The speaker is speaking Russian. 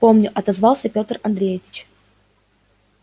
помню отозвался петр андреевич